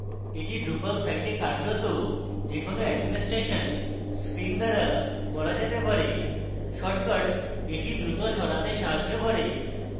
এটি drupal site কার্যত যে কোনো অ্যাডমিনিস্ট্রেশন screen দ্বারা করা যেতে পারে shortcuts এটি দ্রুত সরাতে সাহায্য করে